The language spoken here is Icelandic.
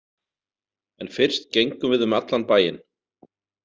En fyrst gengum við um allan bæinn.